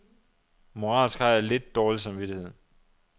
Moralsk har jeg altid lidt dårlig samvittighed.